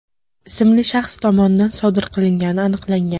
ismli shaxs tomonidan sodir qilingani aniqlangan.